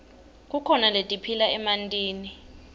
kukhona letiphila emantini